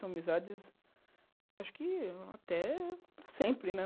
São amizades, acho que até para sempre, né?